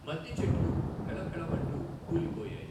మద్ది చెట్లు ఫెళఫెళ మంటూ కూలిపోయాయి.